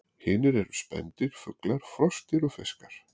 Hinir eru spendýr, fuglar, froskdýr og fiskar.